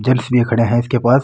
जेंट्स भी खड़े है ईसके पास।